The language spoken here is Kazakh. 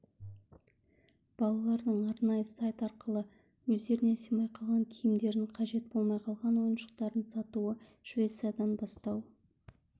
балалардың арнайы сайт арқылы өздеріне сыймай қалған киімдерін қажет болмай қалған ойыншықтарын сатуы швециядан бастау